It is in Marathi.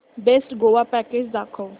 बेस्ट गोवा पॅकेज दाखव